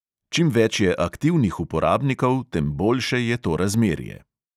Čim več je aktivnih uporabnikov, tem boljše je to razmerje.